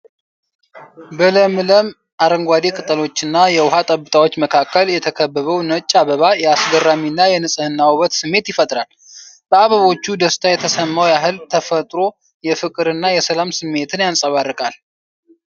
በለምለም አረንጓዴ ቅጠሎችና የውሃ ጠብታዎች መካከል የተከበበው ነጭ አበባ የአስገራሚና የንጽህና ውበት ስሜት ይፈጥራል። በአበቦቹ ደስታ የተሰማው ያህል ተፈጥሮው የፍቅርና የሰላም ስሜትን ያንጸባርቃል።